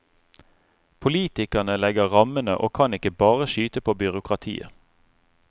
Politikerne legger rammene og kan ikke bare skyte på byråkratiet.